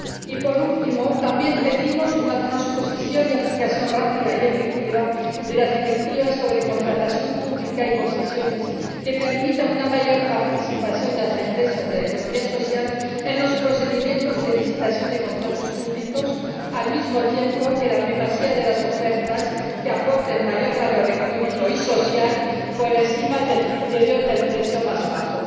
Y, por último, también pedimos una transposición y aplicación rápida y efectiva de las directivas sobre contratación pública y concesiones que permita una mayor participación de las empresas de la economía social en los procedimientos de licitación de contratos públicos, al mismo tiempo que la primacía de las ofertas que aporten mayor valor económico y social por encima del criterio del precio más bajo.